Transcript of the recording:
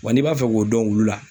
Wa n'i b'a fɛ k'o dɔn olu la